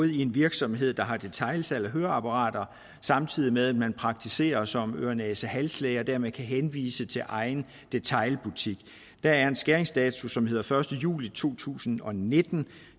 en virksomhed der har detailsalg af høreapparater samtidig med at man praktiserer som ørenæsehalslæge og dermed kan henvise til egen detailbutik der er en skæringsdato som hedder første juli to tusind og nitten